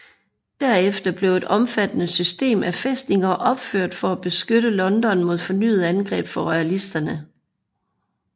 Derefter blev et omfattende system af fæstninger opført for at beskytte London mod fornyede angreb fra royalisterne